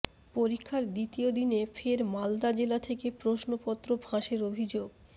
পরীক্ষার দ্বিতীয় দিনে ফের মালদা জেলা থেকে প্রশ্নপত্র ফাঁসের অভিযোগ